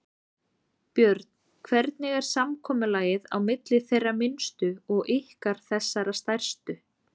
Björn: Hvernig er samkomulagið á milli þeirra minnstu og ykkar þessara stærstu?